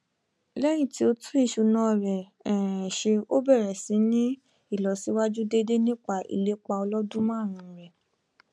lẹyìn tí ó tún ìṣúná rẹ um ṣe ó bẹrẹ síí ní ìlọsíwájú déédé nípa ìlépa ọlọdún márùnún rẹ